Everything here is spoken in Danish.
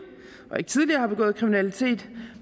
og ikke tidligere har begået kriminalitet